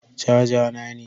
Caja na ne.